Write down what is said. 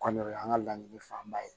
Kɔni o y'an ka laɲini fanba ye